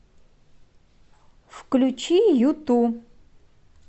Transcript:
включи юту